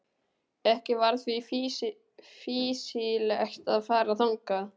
Ekki var því fýsilegt að fara þangað.